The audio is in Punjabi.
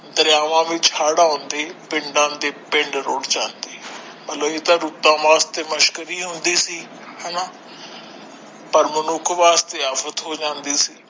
ਦਰਿਆਵਾਂ ਵਿੱਚ ਹੜ੍ਹ ਆਉਂਦੇ ਪਿੰਡ ਦੇ ਪਿੰਡ ਰੁੜ੍ਹ ਜਾਂਦੇ ਮਤਲਬ ਇਹ ਤਾ ਰੁੱਤਾਂ ਵਾਸਤੇ ਮਸ਼ਕਰੀ ਆਉਂਦੀ ਸੀ ਹੇਨਾ ਪਰ ਮਨੁੱਖ ਵਾਸਤੇ ਆਫ਼ਤ ਹੋ ਜਾਂਦੀ ਸੀ।